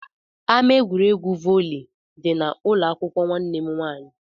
Ama egwuregwu volley dị n'ụlọakwụkwọ nwanne m nwaanyị